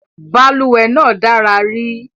Balùwẹ́ náà dára ri